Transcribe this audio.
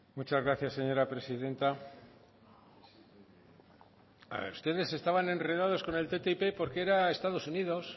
muchas gracias señora presidenta ustedes estaban enredados con el ttip porque era estados unidos